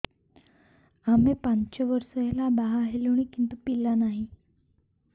ଆମେ ପାଞ୍ଚ ବର୍ଷ ହେଲା ବାହା ହେଲୁଣି କିନ୍ତୁ ପିଲା ନାହିଁ